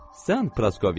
Sən Praskovya.